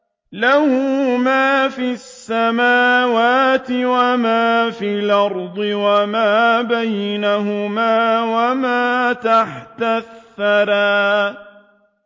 لَهُ مَا فِي السَّمَاوَاتِ وَمَا فِي الْأَرْضِ وَمَا بَيْنَهُمَا وَمَا تَحْتَ الثَّرَىٰ